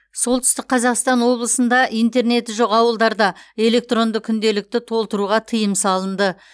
солтүстік қазақстан облысында интернеті жоқ ауылдарда электронды күнделікті толтыруға тыйым салынды